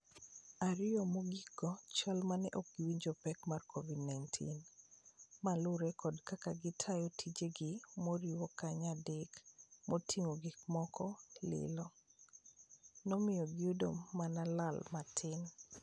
Ario mogiko go chal mane okowinjo pek mar Covd -19. Ma lure kod kaka gitayo tije gi moriwo kanye ndeke mating'o gik moko lilo. Nomiyo giyudo mana lal matin.